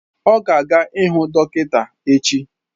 Ọ ga-aga ịhụ dọkịta echi.